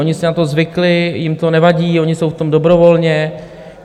Oni si na to zvykli, jim to nevadí, oni jsou v tom dobrovolně.